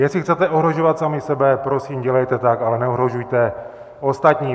Jestli chcete ohrožovat samy sebe, prosím, dělejte tak, ale neohrožujte ostatní.